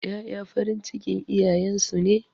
Ƴaƴa farin cikin iyayen su ne.